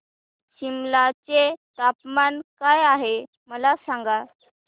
सिमला चे तापमान काय आहे मला सांगा